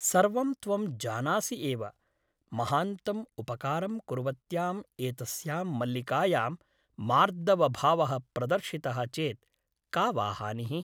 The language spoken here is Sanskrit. सर्वं त्वं जानासि एव । महान्तम् उपकारं कुर्वत्याम् एतस्यां मल्लिकायां मार्दवभावः प्रदर्शितः चेत् का वा हानिः ?